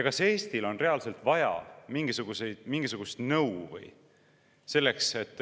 See ei tähenda ju mitte midagi.